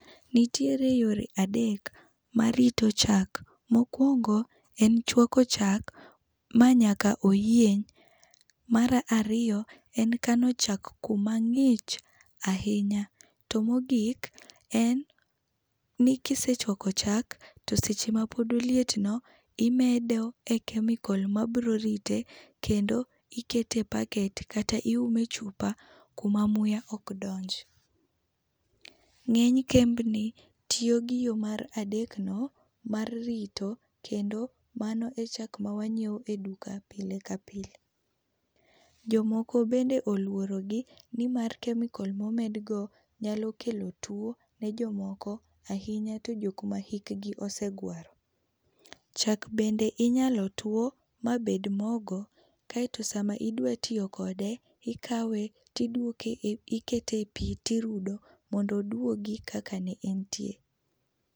Nitiere yore adek mar rito chak .Mokuongo en chwako chak ma nyaka oyieny, mar ariyo en kano chak kuma ng’ich ahinya to mogik en ni kisechuak chak to seche ma pod oliet no imedo e chemical[cs ma biro rite kendo ikete e packet kata iume e chupa kuma muya ok donji.Ng'eny kembni tiyo gi yo mar adek no mar rito kendo mano e chak ma wang'iewo e duka pile ka pile. Jomoko bende oluorogi ni mar chemical ma omed go nyalo kelo two ne jomoko, ahinya to ne jo ma hik gi osegwaro. Chak bende inya two ma bed mogo kaito sa ma idwa tiyo kode to ikawe to to ikete e pii tirudo mondo odwogi kaka ne en tie.